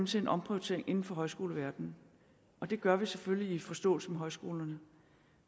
til en omprioritering inden for højskoleverdenen og det gør vi selvfølgelig i forståelse med højskolerne